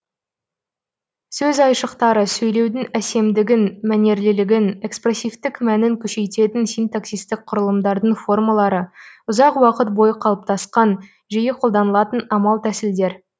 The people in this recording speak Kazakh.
сөз айшықтары сөйлеудің әсемдігін мәнерлілігін экспрессивтік мәнін күшейтетін синтаксистік құрылымдардың формалары ұзақ уақыт бойы қалыптасқан жиі қолданылатын амал тәсілдер